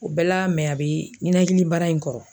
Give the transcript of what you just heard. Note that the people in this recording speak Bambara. O bɛɛ la a bɛ ninakilibara in kɔrɔ.